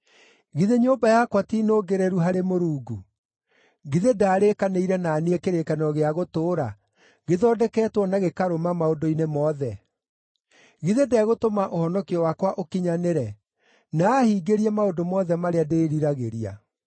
“Githĩ nyũmba yakwa ti nũngĩrĩru harĩ Mũrungu? Githĩ ndaarĩkanĩire na niĩ kĩrĩkanĩro gĩa gũtũũra, gĩthondeketwo na gĩkarũma maũndũ-inĩ mothe? Githĩ ndegũtũma ũhonokio wakwa ũkinyanĩre, na aahingĩrie maũndũ mothe marĩa ndĩriragĩria?